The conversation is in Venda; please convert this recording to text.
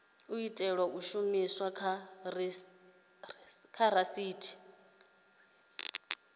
itelwa u shumiswa kha risetshe